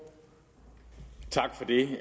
i